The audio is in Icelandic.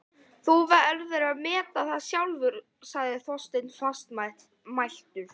Þú verður að meta það sjálfur sagði Þorsteinn fastmæltur.